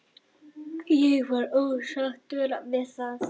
Ég var ósáttur við það.